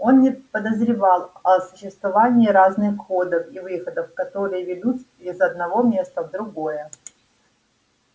он не подозревал о существовании разных входов и выходов которые ведут из одного места в другое